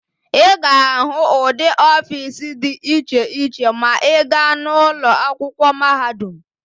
Ị ga-ahụ ụdị ọfiisi dị iche iche ma ị gaa n'ụlọ akwụkwọ mahadum.